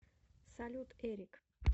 салют эрик